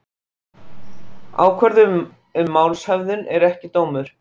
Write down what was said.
Ákvörðun um málshöfðun er ekki dómur